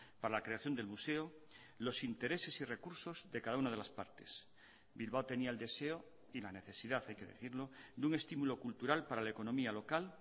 para la creación del museo los intereses y recursos de cada una de las partes bilbao tenía el deseo y la necesidad hay que decirlo de un estímulo cultural para la economía local